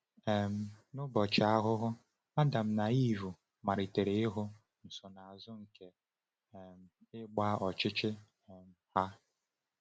um N’ụbọchị ahụ ahụ, Adam na Ivụ malitere ịhụ nsonaazụ nke um ịgba ọchịchị um ha.